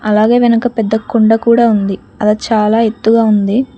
అలాగే వెనక పెద్ద కుండ కూడా ఉంది అది చాలా ఎత్తుగా ఉంది.